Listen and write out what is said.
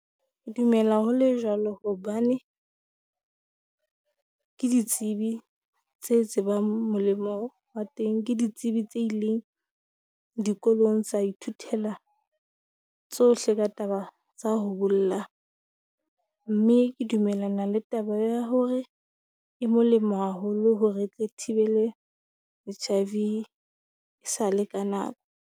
Dumela ho le jwalo hobane ke ditsebi tse tsebang molemo wa teng, ke ditsebi tse ileng dikolong tsa ithuthela tsohle ka taba tsa ho bolla. Mme ke dumellana le taba ya hore e molemo haholo hore e tle thibele HIV e sa le ka .